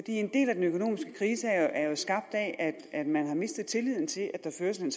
en del af den økonomiske krise er jo skabt af at man har mistet tilliden til at der føres en